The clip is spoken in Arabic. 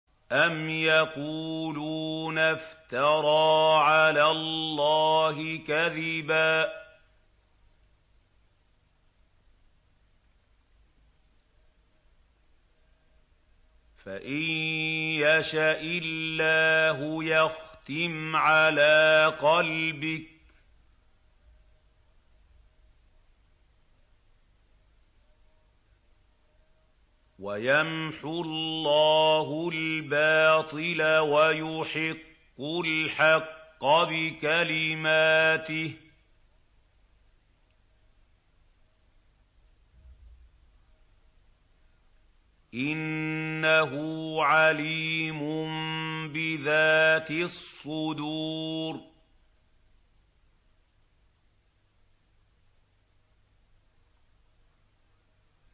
أَمْ يَقُولُونَ افْتَرَىٰ عَلَى اللَّهِ كَذِبًا ۖ فَإِن يَشَإِ اللَّهُ يَخْتِمْ عَلَىٰ قَلْبِكَ ۗ وَيَمْحُ اللَّهُ الْبَاطِلَ وَيُحِقُّ الْحَقَّ بِكَلِمَاتِهِ ۚ إِنَّهُ عَلِيمٌ بِذَاتِ الصُّدُورِ